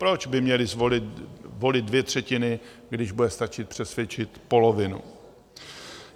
Proč by měly volit dvě třetiny, když bude stačit přesvědčit polovinu?